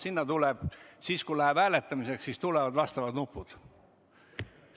Sinna tulevad siis, kui läheb hääletamiseks, vastavad nupud.